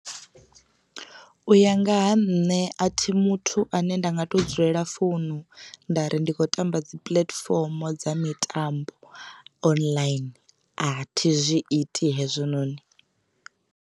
U ya nga ha nṋe a thi muthu ane nda nga to dzulela founu nda ri ndi kho tamba dzi puḽatifomo dza mitambo online a thi zwi iti hezwononi.